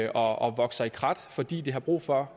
og vokser i krat fordi de har brug for